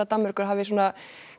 Danmerkur hafi svona